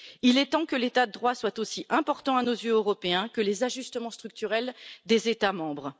Il est temps que l'état de droit soit aussi important à nos yeux que les ajustements structurels des États membres.